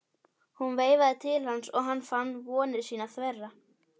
Hún veifaði til hans og hann fann vonir sínar þverra.